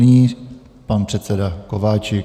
Nyní pan předseda Kováčik.